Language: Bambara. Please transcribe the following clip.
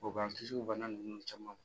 O b'an kisi o bana ninnu caman ma